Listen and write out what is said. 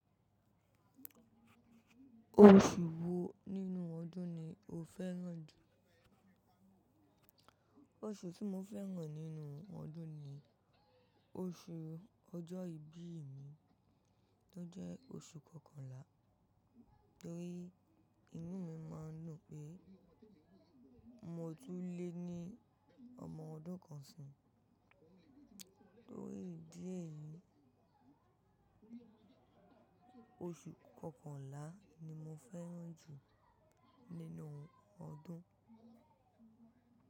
Oṣù wo nínú ọdún ni o fẹ́ràn jù? Oṣù tí mo fẹ́ràn nínú ọdún ni oṣù ọjọ́ ìbí mi tó jẹ́ oṣù kọkànlá, torí inú mi máa ń dun pé mo tun lé ní ọmọ ọdún kan sì. Torí ìdí èyí, oṣù kọkànlá ni mo fẹ́ràn jù nínú ọdún.